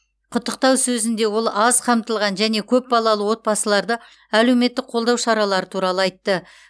құттықтау сөзінде ол аз қамтылған және көп балалы отбасыларды әлеуметтік қолдау шаралары туралы айтты